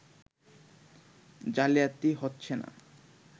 জালিয়াতি হচ্ছে না